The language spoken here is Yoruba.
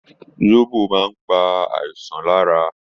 Sóbò maá ń pa àìsàn lára.